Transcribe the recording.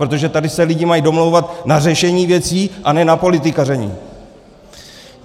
Protože tady se lidi mají domlouvat na řešení věcí, a ne na politikaření!